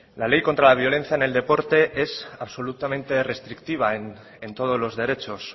la ley contra la violencia en el deporte es absolutamente restrictiva en todos los derechos